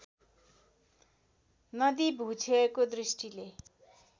नदी भूक्षयको दृष्टिले